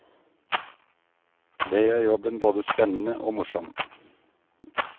Det gjør jobben både spennende og morsom.